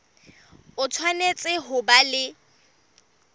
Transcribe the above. o tshwanetse ho ba le